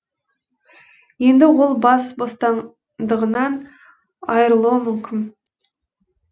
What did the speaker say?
енді ол бас бостандығынан айырылуы мүмкін